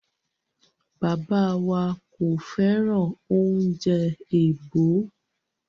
Bàbá wa kò fẹ́ràn oúnjẹ èèbó.